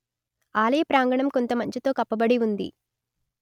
ఆలయ ప్రాంగణం కొంత మంచుతో కప్పబడి ఉంది